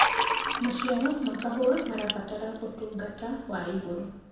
maciaro ma kahũa marabatara utungata wa igũrũ